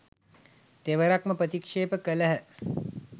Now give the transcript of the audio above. තෙවරක්ම ප්‍රතික්‍ෂේප කළහ.